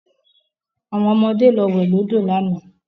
Àwọn ọmọde lọ wẹ̀ lọ́dọ̀ lánàá